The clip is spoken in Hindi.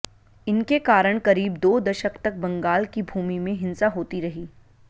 इनके कारण करीब दो दशक तक बंगाल की भूमि में हिंसा होती रही